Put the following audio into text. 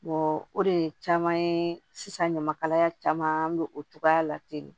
o de ye caman ye sisan ɲamakalaya caman an bɛ o togoya la ten de